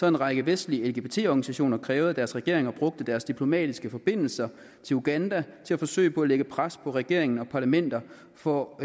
en række vestlige lgbt organisationer krævet at deres regeringer brugte deres diplomatiske forbindelser i uganda til at forsøge på at lægge pres på regeringen og parlamentet for